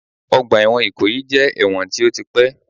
Ọgbà ẹ̀wọ̀n Ìkòyí jẹ́ ẹ̀wọ̀n tí ó ti pẹ́